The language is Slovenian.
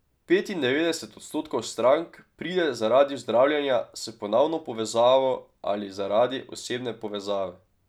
Petindevetdeset odstotkov strank pride zaradi zdravljenja s ponovno povezavo ali zaradi osebne povezave.